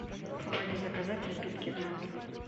помоги заказать напитки в номер